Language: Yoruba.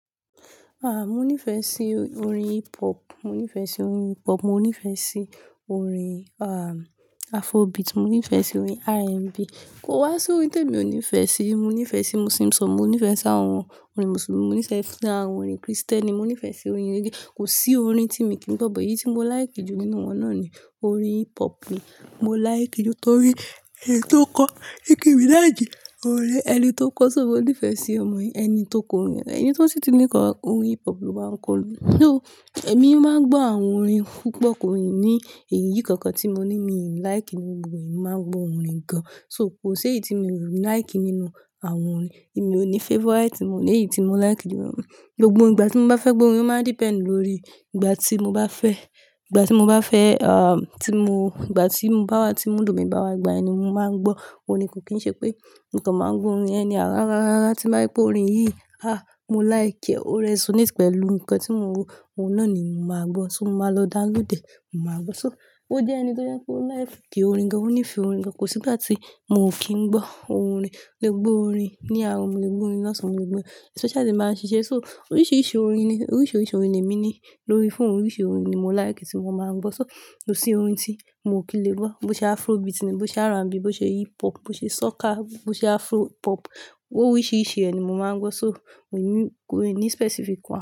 Ah, mo nífẹ̀ẹ́ sí orin hip hop, mo nífẹ̀ẹ́ sí orin hip hop, mo nífẹ̀ẹ́ sí orin, ah, Afrobeat, mo nífẹ̀ẹ́ sí orin R&B. Kò wá sí orin tí èmi ò nífẹ̀ẹ́ sí. Mọ nífẹ̀ẹ́ sí Muslim song, mo nífẹ̀ẹ́ sí àwọn orin Mùsùlùmí, mo nífẹ̀ẹ́ sí àwọn orin Krìstẹ́nì, mo nífẹ̀ẹ́ sí orin eléyìí. Kò sí orin tí èmi kì í gbọ́, bò, èyí tí mo like jù nínú wọn náà ni orin hip hop ni mo like jù nítorí ẹni tó ń kọ orin hip hop jẹ́ ọ̀rẹ́ ẹni tó ń kọ, ṣùgbọ́n ó nífẹ̀ẹ́ sí ọmọ rẹ̀. Ẹni tó ń kọ orin, ẹni tí ó sì ti mú kọ orin hip hop ló máa ń kọ orin. So, èmi máa ń gbọ́ àwọn orin púpọ̀, kò rò ní èyí kankan tí mo ní mi like nínú ìwọ̀n yìí, màá gbọ́ orin gan. So, kò sí èyí tí mi ò like nínú àwọn orin yìí. Èmi ò ní favorite, mo ní èyí tí mo like jù nínú wọn. Gbogbo ìgbà tí mo bá fẹ́ gbọ́ orin, ó máa depend lórí ìgbà tí mo bá fẹ́, ìgbà tí mo bá fẹ́, ah, tí mo, ìgbà tí bá wa, tí mo lòdì bá wa gba ẹni, mo máa ń gbọ́ orin. Kò kí n ṣe pé nǹkan máa ń gbọ́ orin ẹni. Àrá, àrá, àrá, tí bá rí pé orin yìí, ah, mo like, o resonate pẹ̀lú nǹkan tí mo ń rò, òun náà ni mo máa gbọ́. So, mo máa lọ downloadẹ̀, mo máa gbọ́. So, ó jẹ́ ẹni tó jẹ́ kó like kí orin gan, ó nífẹ̀ẹ́ orin gan. Kò sí ìgbà tí mo ò kí ń gbọ́ orin. Gbogbo orin ní àárọ̀, mo lè gbọ́ orin lásán, mo lè gbọ́ especially bí a bá ń ṣiṣẹ́. So, oríṣiríṣi orin ni, oríṣiríṣi orin ni èmi ní lórí phone. Oríṣiríṣi orin ni mo like tí mo máa ń gbọ́. So, kò sí orin tí mo ò kí lè gbọ́. Bo ṣe Afrobeat ni, bo ṣe R&B, bo ṣe hip hop, bo ṣe soka, bo ṣe Afropop. Oríṣiríṣi ẹni mo máa ń gbọ́. So, òní kò ní specific kan.